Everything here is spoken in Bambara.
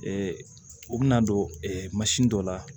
u bɛna don mansin dɔ la